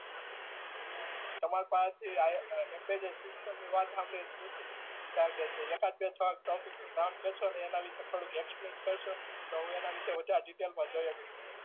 એટલે તમારી પાહે થી આઈ એમ્બેરર સીસ્ટમ ની વાત શામ્ભ્ડી ને જુઠી લાગે છે એક એકાદ બે થોડાક ટોપિક ના નામ કેહ્સો અને એના વિશે થોડુક એક્સપ્લેન કરશો તો હું એના વિશે વધારે ડીટેલ માં જોઈ હકું